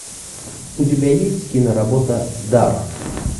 у тебя есть киноработа дар